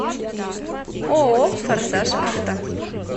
ооо форсаж авто